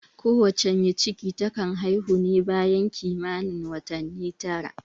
Ko wace mai ciki ta kan haihu ne bayan kimanin watanni tara